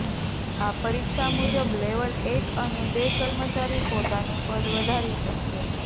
આ પરીક્ષા મુજબ લેવલ એક અને બે કર્મચારી પોતાનું પદ વધારી શકશે